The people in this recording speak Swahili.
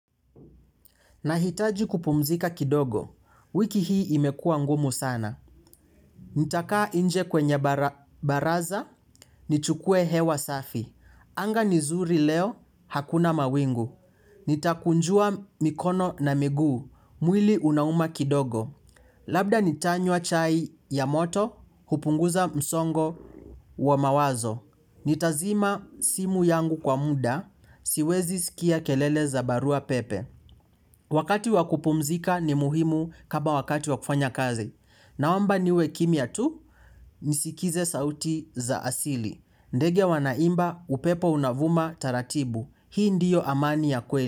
Nahitaji kupumzika kidogo, wiki hii imekua ngumu sana. Nitakaa inje kwenye baraza, nichukue hewa safi. Anga ni zuri leo, hakuna mawingu. Nitakunjua mikono na miguu, mwili unauma kidogo. Labda nitanywa chai ya moto, hupunguza msongo wa mawazo. Nitazima simu yangu kwa muda, siwezi sikia kelele za barua pepe. Wakati wa kupumzika ni muhimu kama wakati wakufanya kazi. Naomba niwe kimya tu nisikize sauti za asili. Ndege wanaimba upepo unavuma taratibu. Hii ndiyo amani ya kweli.